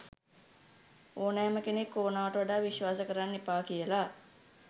ඕනෑම කෙනෙක් ඕනවට වඩා විස්වාස කරන්න එපා කියලා.